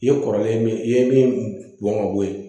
I ye kɔrɔlen ye min i ye min bɔn ka bo ye